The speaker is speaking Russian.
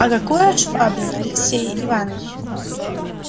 а каков швабрин алексей иваныч